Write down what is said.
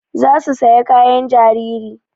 Za su saya kayan jariri